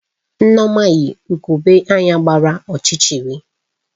Nneoma yi ugogbe anya gbara ọchịchịrị